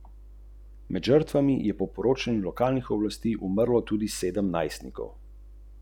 Uroš Zadnik je za dalmatinsko vrsto zbral devet točk.